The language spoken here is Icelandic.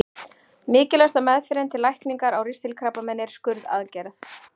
Mikilvægasta meðferðin til lækningar á ristilkrabbameini er skurðaðgerð.